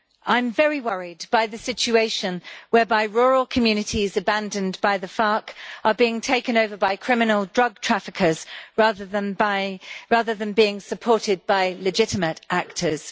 I'm very worried by the situation whereby rural communities abandoned by the FARC are being taken over by criminal drug traffickers rather than being supported by legitimate actors.